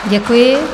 Děkuji.